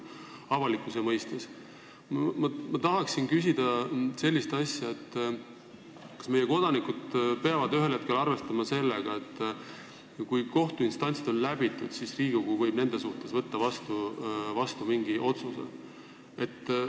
Nüüd tahan küsida sellist asja: kas meie kodanikud peavad ühel hetkel arvestama sellega, et kui neil on kohtuinstantsid läbitud, võib Riigikogu nende kohta võtta vastu mingi otsuse?